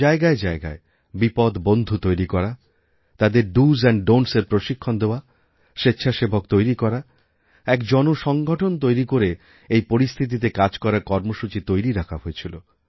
জায়গায়জায়গায় বিপদবন্ধু তৈরি করা তাঁদের doস্ এন্ড donটিএস এর প্রশিক্ষণ দেওয়া স্বেচ্ছাসেবক তৈরি করা এক জনসংগঠন তৈরি করে এইপরিস্থিতিতে কাজ করার কর্মসূচি তৈরি রাখা হয়েছিল